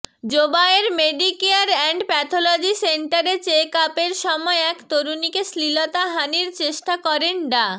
Zobayer Medicare and pathology সেন্টারে চেকআপের সময় এক তরুণীকে শ্লীলতাহানীর চেষ্টা করেন ডা